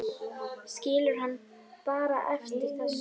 Skilur mann bara eftir, þessi.